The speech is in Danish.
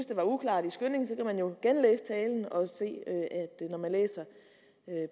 det var uklart i skyndingen kan man jo genlæse talen og se at når man læser